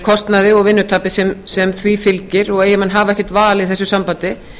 kostnaði og vinnutapi sem því fylgir og ef menn hafa ekkert val í þessu sambandi